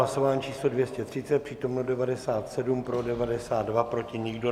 Hlasování číslo 230, přítomno 97, pro 92, proti nikdo.